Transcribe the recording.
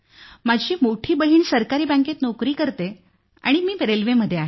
माझी मोठी बहीण सरकारी बँकेत नोकरी करते आणि मी रेल्वेमध्ये आहे